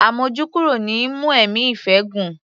Àmójúkúrò ni í mú ẹ̀mí ìfẹ́ gùn.